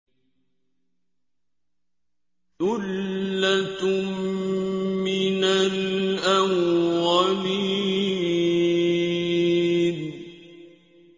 ثُلَّةٌ مِّنَ الْأَوَّلِينَ